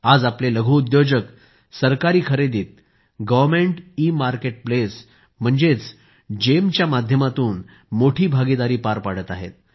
आज आपले लघुउद्योजक सरकारी खरेदीत गव्हर्नमेंट इमार्केटप्लेस म्हणजेच GeMच्या माध्यमातून मोठी भागीदारी पार पाडत आहेत